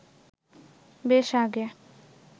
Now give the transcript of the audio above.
বেশ আগে